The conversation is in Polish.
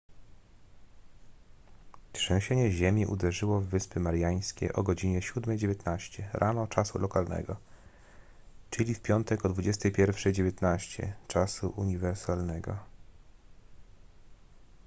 trzęsienie ziemi uderzyło w wyspy mariańskie o godzinie 7:19 rano czasu lokalnego czyli w piątek o 21:19 czasu uniwersalnego